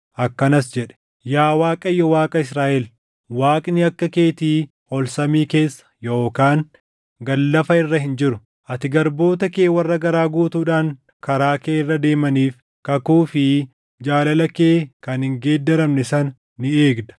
akkanas jedhe: “Yaa Waaqayyo Waaqa Israaʼel, Waaqni akka keetii ol samii keessa yookaan gad lafa irra hin jiru; ati garboota kee warra garaa guutuudhaan karaa kee irra deemaniif kakuu fi jaalala kee kan hin geeddaramne sana ni eegda.